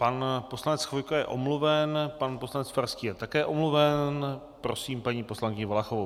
Pan poslanec Chvojka je omluven, pan poslanec Farský je také omluven, prosím paní poslankyni Valachovou.